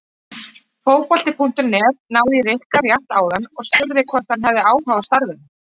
Fótbolti.net náði í Rikka rétt áðan og spurði hvort hann hefði áhuga á starfinu?